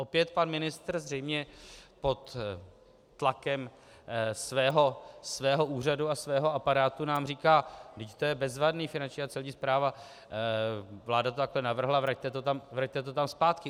Opět pan ministr zřejmě pod tlakem svého úřadu a svého aparátu nám říká: vždyť to je bezvadné, Finanční a Celní správa, vláda to takto navrhla, vraťte to tam zpátky.